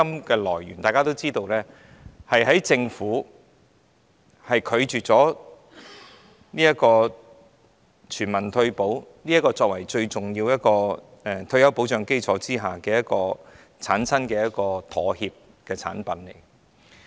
第一，大家亦知道強積金源於政府拒絕推行全民退休保障作為最重要的退休保障基礎，是因妥協而出現的產物。